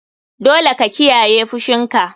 Dole ka kiyaye fushinka.